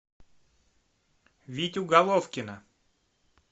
витю головкина